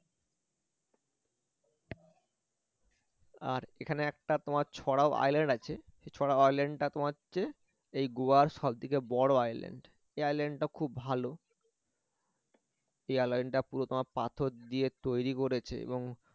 আর এখানে একটা তোমার island আছে সেই island টা তোমার হচ্ছে এই গোয়ার সব থেকে বড় island এই island টা খুব ভালো এই island টা পুরো তোমার পাথর দিয়ে তৈরি করেছে এবং